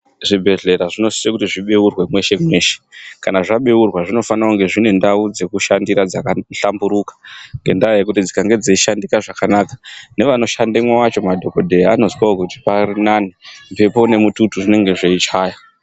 Zvibhedhlera zvinosise kuti zvibeurwe mweshe-mweshe. Kana zvabeurwa zvinofana kunge zvine ndau dzekushandira dzaka hlamburuka ngendaa yekuti dzikange dzeishandika zvakanaka, nevano shandemwo vacho madhokodheya anozwawo kuti parinane, mhepo nemututu zvinenge zveichaya.